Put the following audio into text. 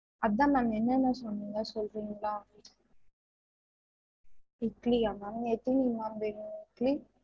அதான் ma'am என்னன்ன சொன்னிங்க சொல்றீங்களா? இட்டிலியா ma'am எத்தினி ma'am வேணும் உங்களுக்கு?